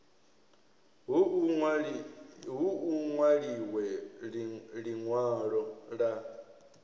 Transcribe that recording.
hu u nwaliwe linwalo la